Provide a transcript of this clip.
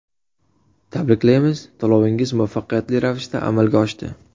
Tabriklaymiz, to‘lovingiz muvaffaqiyatli ravishda amalga oshdi.